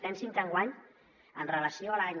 pensin que enguany amb relació a l’any